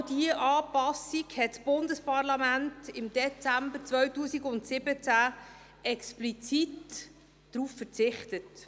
Genau auf diese Anpassung hat das Bundesparlament im Dezember 2017 explizit verzichtet.